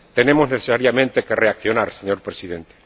Tenemos necesariamente que reaccionar, señor Presidente.